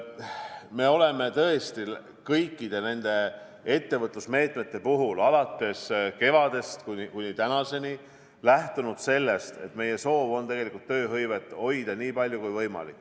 Me oleme tõesti kõikide nende ettevõtlusmeetmete puhul, alates kevadest kuni tänaseni, lähtunud sellest, et meie soov on tööhõivet hoida nii palju kui võimalik.